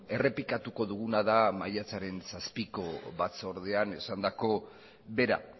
errepikatuko duguna da maiatzaren zazpiko batzordean esandako bera